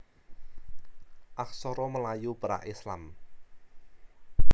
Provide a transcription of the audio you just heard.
Aksara Melayu Pra Islam